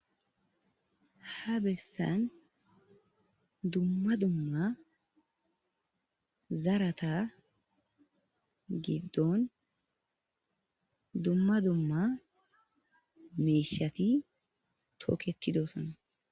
ha besan dumma dumma zarata gidon dumma dumma mishati toketidosona